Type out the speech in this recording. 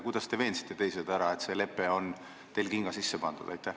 Kuidas te veensite teised ära, et see lepe on teil kinga sisse pandud?